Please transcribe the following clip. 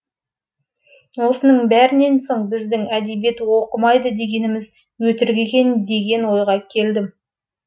осының бәрінен соң біздің әдебиет оқымайды дегеніміз өтірік екен деген ойға келдім